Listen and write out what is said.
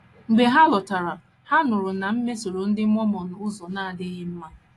Mgbe ha lọtara, ha nụrụ na m mesoro ndị Mormon n’ụzọ na - adịghị mma.